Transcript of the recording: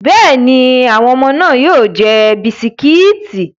Bẹ́ẹ̀ni, àwọn ọmọ náà yóò jẹ bisikíìtì.